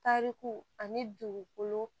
Tariku ani dugukolo